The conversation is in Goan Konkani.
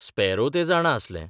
स्पॅरो तें जाणा आसलें.